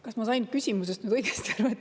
Kas ma sain küsimusest nüüd õigesti aru?